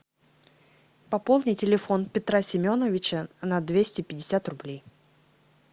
пополни телефон петра семеновича на двести пятьдесят рублей